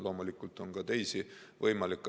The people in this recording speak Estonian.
Loomulikult on ka teisi võimalikke.